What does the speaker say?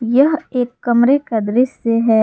यह एक कमरे का दृश्य है।